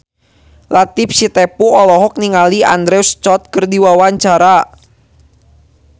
Latief Sitepu olohok ningali Andrew Scott keur diwawancara